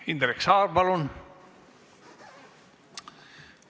Indrek Saar, palun!